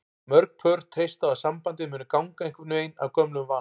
Mörg pör treysta á að sambandið muni ganga einhvern veginn af gömlum vana.